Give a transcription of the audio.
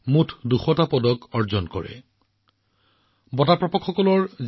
এই পদক বিজয়ীসকলৰ জীৱন যাত্ৰা যথেষ্ট প্ৰেৰণাদায়ক হৈ পৰিছে